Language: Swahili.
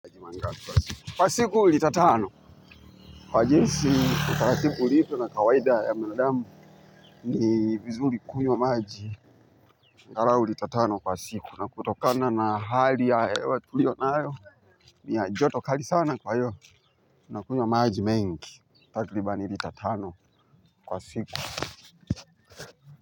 Kwa siku lita tano, kwa jinsi utaratibu ulipo na kawaida ya mwanadamu ni vizuri kunywa maji. Anghalau lita tano kwa siku, na kutokana na hali ya hewa tulionayo, ni ya joto kali sana kwa hivyo unakunywa maji mengi, takriban lita tano kwa siku.